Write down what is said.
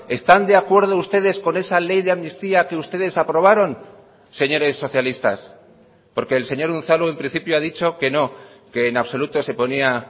están de acuerdo ustedes con esa ley de amnistía que ustedes aprobaron señores socialistas porque el señor unzalu en principio ha dicho que no que en absoluto se ponía